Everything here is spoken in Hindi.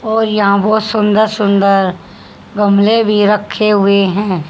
और यहां बहोत सुंदर सुंदर गमले भी रखे हुए हैं।